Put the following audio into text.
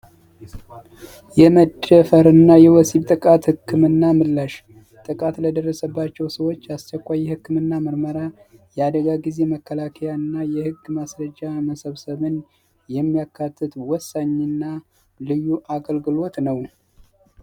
የመጨፈርና የወሲብ ጥቃት ህክምና ምላሽ ጥቃት ለደረሰባቸው ሰዎች ያስቸኳይ ህክምና ምርመራ ያደጋ ጊዜ መከላከያና የህግ ማስረጃ መሰብሰብን የሚያካተት ወሳኝና ልዩ አገልግሎት ነው